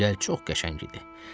Düzü, gəl çox qəşəng idi.